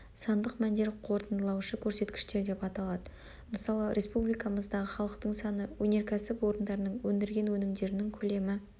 сандық мәндер қорытындылаушы көрсеткіштер деп аталады мысалы республикамыздағы халықтың саны өнеркәсіп орындарының өндірген өнімдерінің көлемі